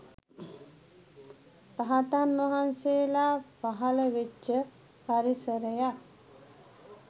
රහතන් වහන්සේලා පහළ වෙච්ච පරිසරයක්